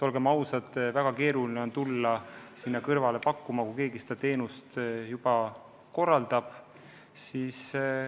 Olgem ausad, väga keeruline on tulla sinna kõrvale oma teenust pakkuma, kui keegi seda vedu juba korraldab.